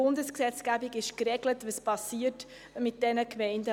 Nutzung bestehender Gebäude ausserhalb der Bauzone: